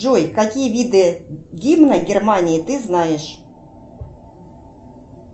джой какие виды гимна германии ты знаешь